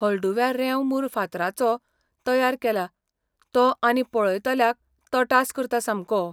हळडुव्या रेंव मूर फातराचो तयार केला तो आनी पळयतल्याक तटास करता सामको.